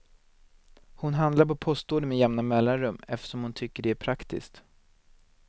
Hon handlar på postorder med jämna mellanrum eftersom hon tycker det är praktiskt.